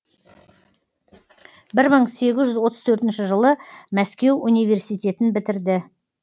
бір мың сегіз жүз отыз төртінші жылы мәскеу университетін бітірді